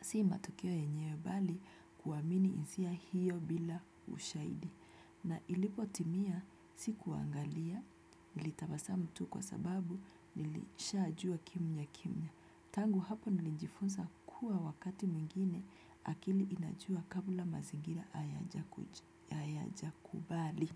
si matokeo yenyewe bali kuamini isia hiyo bila ushaidi na ilipotimia sikuangalia nilitabasamu tu kwa sababu nilishajua kimya kimya. Tangu hapo nilijifunza kuwa wakati mwingine akili inajua kabla mazingira ayajakubali.